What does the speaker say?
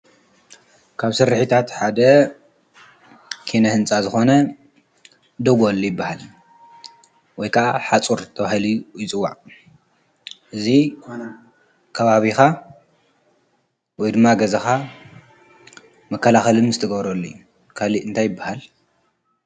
ካብ ስርሒታት ሓደ ኪነ ህንፃ ዝኾነ ደጎል ይብሃል ወይ ከኣ ሓፁር ተባሂሉ ይፅዋዕ እዚ ከባቢኻ ወይ ድማ ገዛካ መከላኸሊ ምስ ትገብረሉ እዩ ካልእ እንታይ ይበሃል?